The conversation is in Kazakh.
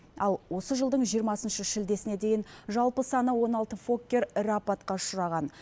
ал осы жылдың жиырмасыншы шілдесіне дейін жалпы саны он алты фоккер ірі апатқа ұшыраған